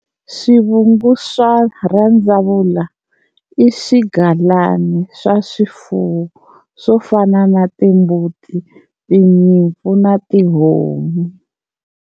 Swivungu swa rhandzavula i swigalana swa swifuwo swo fana na timbuti, tinyimpfu na tihomu.